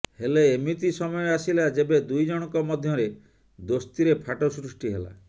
ହେଲେ ଏମିତି ସମୟ ଆସିଲା ଯେବେ ଦୁଇଜଣଙ୍କ ମଧ୍ୟରେ ଦୋସ୍ତିରେ ଫାଟ ସୃଷ୍ଟି ହେଲା